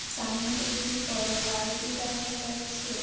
সামনে একটি বড়ো বালতি দেখা যাচ্ছে ।